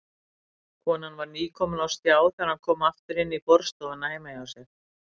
Konan var nýkomin á stjá þegar hann kom aftur inn í borðstofuna heima hjá sér.